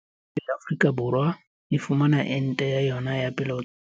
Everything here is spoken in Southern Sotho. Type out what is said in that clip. Ebe Afrika Borwa e fumana ente ya yona ya pele hotswa kae?